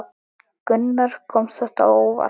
Gunnar: Kom þetta á óvart?